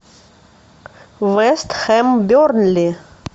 вест хэм бернли